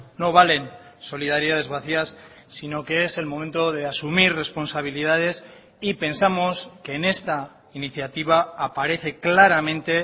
no valen solidaridades vacías si no que es el momento de asumir responsabilidades y pensamos que en esta iniciativa aparece claramente